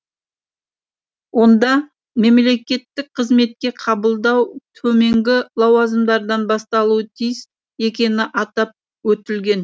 онда мемлекеттік қызметке қабылдау төменгі лауазымдардан басталуы тиіс екені атап өтілген